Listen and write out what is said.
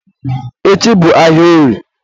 echi bụ ahịa orie.